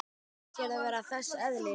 Finnst þér það vera þess eðlis?